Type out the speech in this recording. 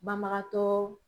Banbagatɔ